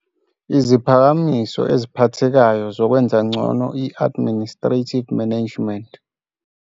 IZIPHAKAMISO EZIPHATHEKAYO ZOKWENZA NGCONO I-ADMINISTRATIVE MANAGEMENT